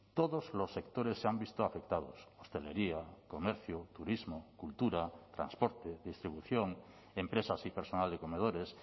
todos los sectores se han visto afectados hostelería comercio turismo cultura transporte distribución empresas y personal de comedores